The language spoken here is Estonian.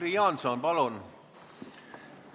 Jüri Jaanson, palun!